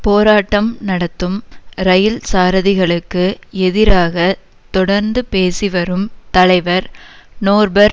போராட்டம் நடத்தும் இரயில் சாரதிகளுக்கு எதிராக தொடர்ந்து பேசி வரும் தலைவர் நோர்பெர்ட்